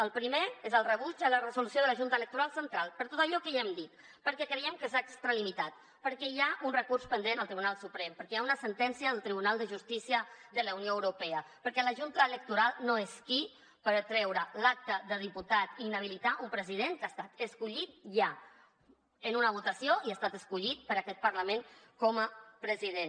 el primer és el rebuig a la resolució de la junta electoral central per tot allò que ja hem dit perquè creiem que s’ha extralimitat perquè hi ha un recurs pendent al tribunal suprem perquè hi ha una sentència del tribunal de justícia de la unió europea perquè la junta electoral no és qui per treure l’acta de diputat i inhabilitar un president que ha estat escollit ja en una votació i ha estat escollit per aquest parlament com a president